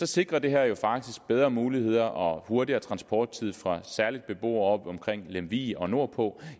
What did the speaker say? sikrer det her jo faktisk bedre muligheder og hurtigere transporttid for særlig beboere omkring lemvig og nordpå